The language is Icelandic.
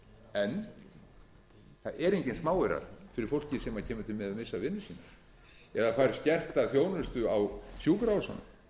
en það eru engir smáaurar fyrir fólkið sem kemur til með að missa vinnu sína eða fær skerta þjónustu á sjúkrahúsunum